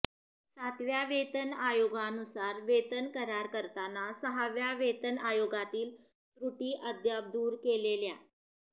सातव्या वेतन आयोगानुसार वेतन करार करताना सहाव्या वेतन आयोगातील त्रुटी अद्याप दूर केलेल्या